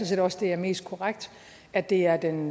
set også det er mest korrekt at det er den